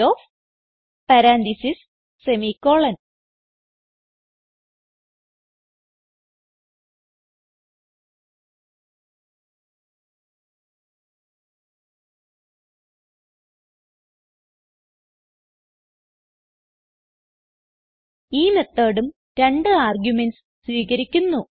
copyOfമാർക്ക്സ് 5 ഈ methodഉം രണ്ട് ആർഗുമെന്റ്സ് സ്വീകരിക്കുന്നു